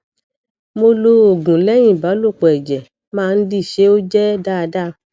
mo lo oogunlẹyìn ìbálòpọ ẹjẹ máa ń di ṣé ó je daada